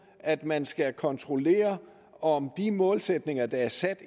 at man skal kontrollere om de målsætninger der er sat